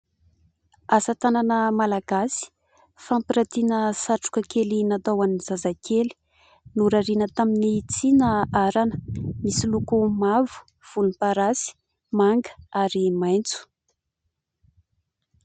asa tanana malagasy fampiratiana satroka kely natao an'ny zazakely norariana tamin'ny tsina arana misy loko mavo volom-parasy manga ary maintso